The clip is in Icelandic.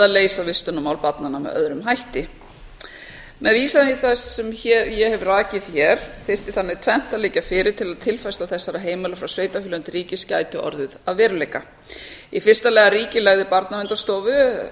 leysa vistunarmál barnanna með öðrum hætti með vísan í það sem ég hef rakið hér þyrfti þannig tvennt að liggja fyrir til að tilfærsla þessara heimila frá sveitarfélögum til ríkis gæti orðið að veruleika í fyrsta lagi að ríkið legði barnaverndarstofu